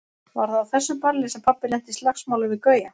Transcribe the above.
Var það á þessu balli sem pabbi lenti í slagsmálum við Gauja?